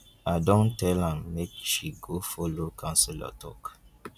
i don tell am make she go folo counselor talk.